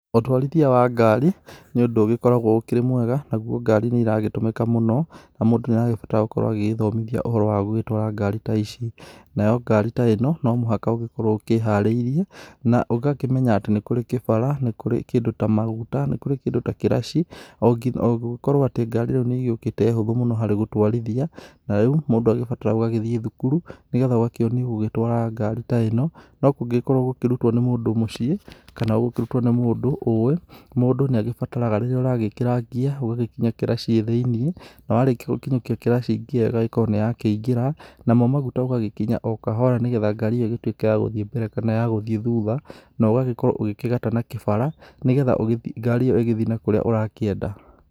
Ũtwarithia wa ngari nĩ ũndũ ũgĩkoragwo ũkĩrĩ mwega naguo ngari nĩ ĩragĩtũmĩka mũno na mũndũ nĩ arabatara gũkorwo agĩgĩthomithia ũhoro wa gũgĩtwara ngari ta ici. Nayo ngari ta ĩno no mũhaka ũgĩkorwo ũkĩharĩirie na ũgakĩmenya atĩ nĩ kũrĩ kĩbara, nĩ kũrĩ kĩndũ ta maguta, nĩ kũrĩ kĩndũ ta kĩraci, ũgũgĩkorwo atĩ ngari rĩu nĩigĩũkĩte hũthũ mũno harĩ gũtwarithia, na rĩu mũndũ agĩbataraga ũgagĩthĩ thukuru, nĩgetha ũgakĩonio gũgĩtwara ngari ta ĩno. No kũngĩgĩkorwo ũgũkĩrutwo nĩ mũndũ mũciĩ kana ũgũkĩrutwo nĩ mũndũ ũwĩ mũndũ nĩagĩbataraga rĩrĩa ũragĩkĩra ngiya, ũgagĩkinya kĩracĩ thĩiniĩ na warĩkia gũkinyũkia kĩracĩ ngiya ĩgagĩkorwo nĩyakĩingĩra, namo maguta ũgagĩkinya o kahora, nĩgetha ngari ĩyo ĩgĩtuĩke ya gũthiĩ mbere kana ya gũthiĩ thutha, no ũgagĩkorwo ũgĩkĩgata na kĩbara, nĩgetha ngari ĩyo ĩgĩthiĩ na kũrĩa ũrakĩenda.